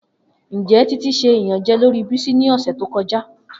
Njẹ Titi ṣe iyanjẹ lori Bisi ni ọsẹ to kọja?